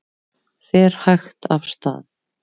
Fer hægt af stað